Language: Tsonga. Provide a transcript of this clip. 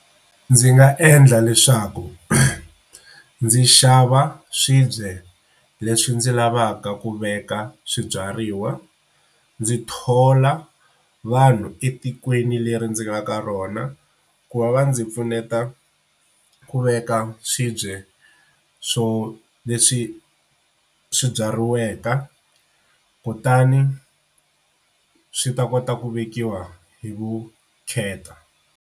Ndzi nga endla leswaku ndzi xava swibye leswi ndzi lavaka ku veka swibyariwa ndzi thola vanhu etikweni leri ndzi nga ka rona ku va va ndzi pfuneta ku veka swibye swo leswi swi byariweke kutani swi ta kota ku vekiwa hi vukheta.